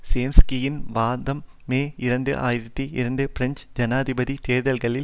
சோம்ஸ்கியின் வாதம் மே இரண்டு ஆயிரத்தி இரண்டு பிரெஞ்சு ஜனாதிபதி தேர்தல்களின்